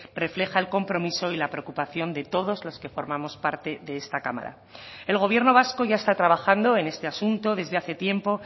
refleja el compromiso y la preocupación de todos los que formamos parte de esta cámara el gobierno vasco ya está trabajando en este asunto desde hace tiempo